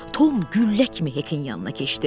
Tom güllə kimi Hekin yanına keçdi.